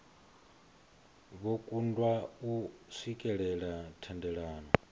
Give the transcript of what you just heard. vho kundwa u swikelela thendelano